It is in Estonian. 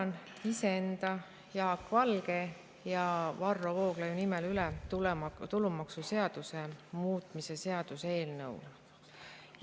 Annan iseenda, Jaak Valge ja Varro Vooglaiu nimel üle tulumaksuseaduse muutmise seaduse eelnõu.